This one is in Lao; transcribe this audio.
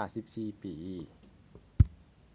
54 ປີ